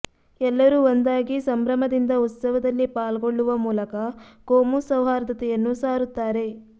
ಎಲ್ಲರೂ ಒಂದಾಗಿ ಸಂಭ್ರಮದಿಂದ ಉತ್ಸವದಲ್ಲಿ ಪಾಲ್ಗೊಳ್ಳುವ ಮೂಲಕ ಕೋಮು ಸೌಹಾರ್ದತೆಯನ್ನು ಸಾರುತ್ತಾರೆ